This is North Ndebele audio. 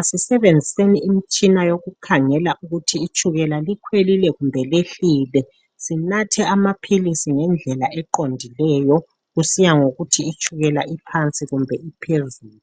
asisebenziseni imitshina yokukhangela ukuthi itshukela likhwelile kumbe liyehlile sinathe amaphilisi ngendlela eqondileyo kusiya ngokuthi itshukela iphansi kumbe iphezulu.